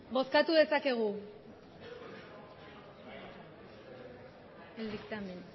bozkatu dezakegu emandako